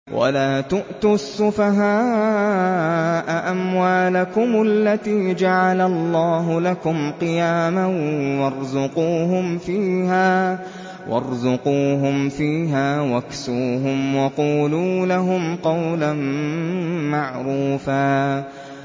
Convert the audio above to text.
وَلَا تُؤْتُوا السُّفَهَاءَ أَمْوَالَكُمُ الَّتِي جَعَلَ اللَّهُ لَكُمْ قِيَامًا وَارْزُقُوهُمْ فِيهَا وَاكْسُوهُمْ وَقُولُوا لَهُمْ قَوْلًا مَّعْرُوفًا